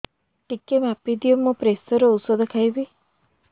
ଟିକେ ମାପିଦିଅ ମୁଁ ପ୍ରେସର ଔଷଧ ଖାଉଚି